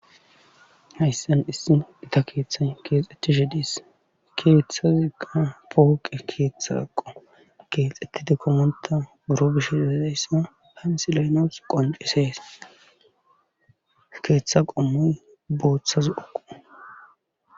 hayssan issin ita keeththay keexxethishe diis kieththaziqa pooqe keeththa aqo keexxettidi komonta buro bish edayssa hansileynoos qondisees keeththa qomoy booththa zo'oko